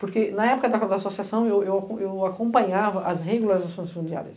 Porque, na época da Associação, eu eu eu eu acompanhava as regularizações fundiárias.